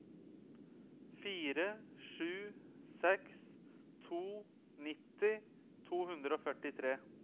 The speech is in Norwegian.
fire sju seks to nitti to hundre og førtitre